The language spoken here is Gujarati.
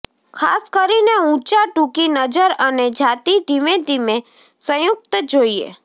ખાસ કરીને ઊંચા ટૂંકી નજર અને જાતિ ધીમેધીમે સંયુક્ત જોઈએ